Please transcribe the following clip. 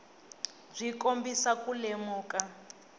byi kombisa ku lemuka